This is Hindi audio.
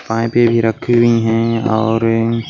वहीं पे भी रखी हुई हैं और --